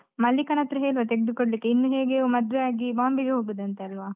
ಮಲ್ಲಿಕಾನ ಹತ್ರ ಹೇಳುವ ತೆಗ್ದು ಕೊಡ್ಲಿಕ್ಕೆ, ಇನ್ನು ಹೇಗೆಯೂ ಮದ್ವೆಯಾಗಿ Bombay ಗೆ ಹೋಗುದಂತೆ ಅಲ್ವಾ?